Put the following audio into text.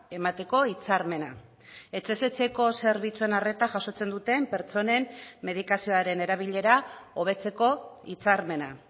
emateko hitzarmena etxez etxeko zerbitzuen arreta jasotzen duten pertsonen medikazioaren erabilera hobetzeko hitzarmena